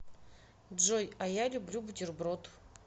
джой а я люблю бутерброд